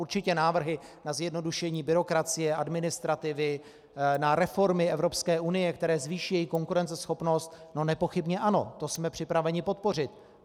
Určitě návrhy na zjednodušení byrokracie, administrativy, na reformy Evropské unie, které zvýší její konkurenceschopnost, no nepochybně ano, to jsme připraveni podpořit.